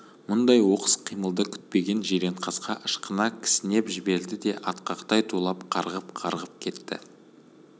мұндай оқыс қимылды күтпеген жиренқасқа ышқына кісінеп жіберді де атқақтай тулап қарғып-қарғып кетті